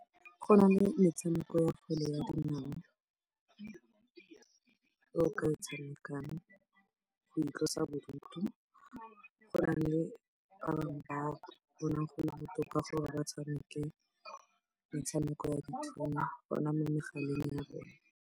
Go na le metshameko ya kgwele ya dinao e o ka e tshamekang go itlosa bodutu. Go na le ba bonang go le botoka gore ba tshameke metshameko ya ditšhono gona mo megaleng ya bone.